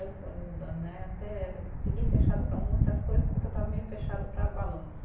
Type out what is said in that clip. Né até, eu fiquei fechada para muitas coisas porque eu estava meio fechada para balanço.